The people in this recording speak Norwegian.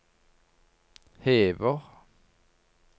hever